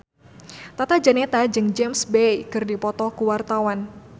Tata Janeta jeung James Bay keur dipoto ku wartawan